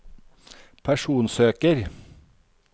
personsøker